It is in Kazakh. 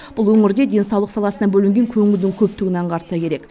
бұл өңірде денсаулық саласына бөлінген көңілдін көптігін аңғартса керек